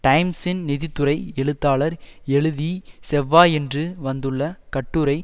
டைம்ஸின் நிதி துறை எழுத்தாளர் எழுதி செவ்வாயன்று வந்துள்ள கட்டுரை